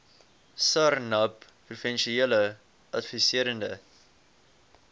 sarnap professionele adviserende